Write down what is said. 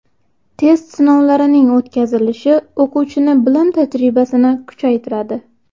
Test sinovlarining o‘tkazilishi o‘quvchini bilim tajribasini kuchaytiradi.